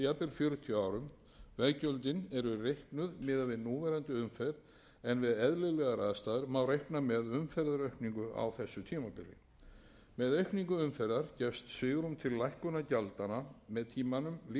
fjörutíu árum veggjöldin eru reiknuð miðað við núverandi umferð en við eðlilegar aðstæður má reikna með umferðaraukningu á þessu tímabili með aukningu umferðar gefst svigrúm til lækkunar gjaldanna með tímanum líkt og gerst hefur með hvalfjarðargöng þá þarf einnig